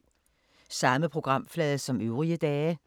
Samme programflade som øvrige dage